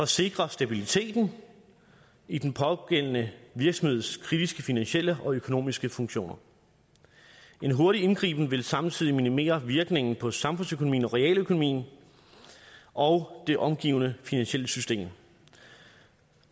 sikre stabiliteten i den pågældende virksomheds kritiske finansielle og økonomiske funktioner en hurtig indgriben vil samtidig minimere virkningen på samfundsøkonomien og realøkonomien og det omgivende finansielle system